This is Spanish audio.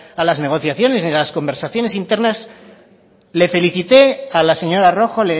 a las negociaciones ni a las conversaciones internas le felicité a la señora rojo